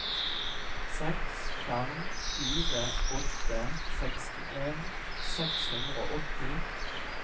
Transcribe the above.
seks fem fire åtte sekstien seks hundre og åtti